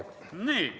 Ole lahke!